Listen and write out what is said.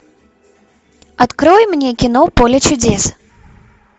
открой мне кино поле чудес